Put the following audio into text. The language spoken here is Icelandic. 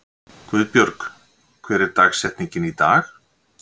Guðbjörg, hver er dagsetningin í dag?